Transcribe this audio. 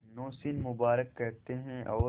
नौशीन मुबारक कहते हैं और